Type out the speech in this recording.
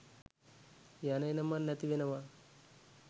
යන එන මං නැති වෙනව.